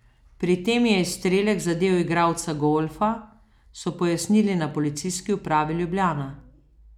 Pri tem je izstrelek zadel igralca golfa, so pojasnili na Policijski upravi Ljubljana.